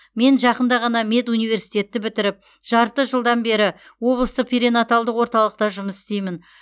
мен жақында ғана медуниверситетті бітіріп жарты жылдан бері облыстық перинаталдық орталықта жұмыс істеймін